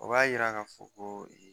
A b'a yira ka fɔ ko ee